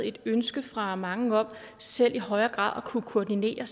et ønske fra mange om selv i højere grad at kunne koordinere